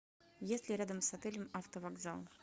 есть ли рядом с отелем автовокзал